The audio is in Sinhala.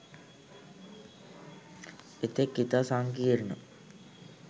එතෙක් ඉතා සංකීර්ණ